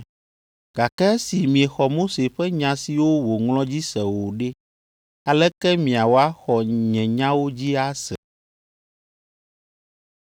Gake esi miexɔ Mose ƒe nya siwo wòŋlɔ dzi se o ɖe, aleke miawɔ axɔ nye nyawo dzi ase.”